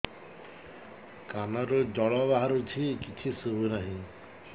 କାନରୁ ଜଳ ବାହାରୁଛି କିଛି ଶୁଭୁ ନାହିଁ